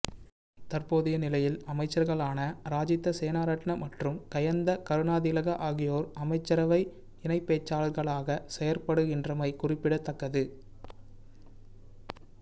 தற்போதைய நிலையில் அமைச்சர்களான ராஜித சேனாரட்ன மற்றும் கயந்த கருணாதிலக ஆகியோர் அமைச்சரவை இணை பேச்சாளர்களாக செயற்படுகின்றமை குறிப்பிடத்தக்கது